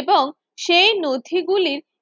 এবং সেই নথিগুলির